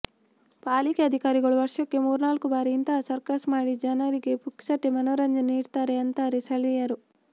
ಪಾಲಿಕೆ ಅಧಿಕಾರಿಗಳು ವರ್ಷಕ್ಕೆ ಮೂರ್ನಾಲ್ಕು ಬಾರಿ ಇಂತಹ ಸರ್ಕಸ್ ಮಾಡಿ ಜನರಿಗೆ ಪುಕ್ಕಟ್ಟೆ ಮನೋರಂಜನೆ ನೀಡ್ತಾರೆ ಅಂತಾರೆ ಸ್ಥಳೀಯರು